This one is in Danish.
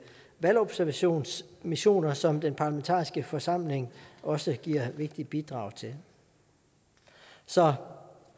valgobservationsmissioner som den parlamentariske forsamling også giver et vigtigt bidrag til så